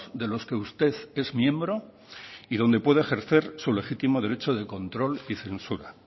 de los que usted es miembro y donde puede ejercer su legítimo derecho de control y censura